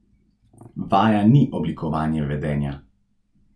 Vaja ni oblikovanje vedenja.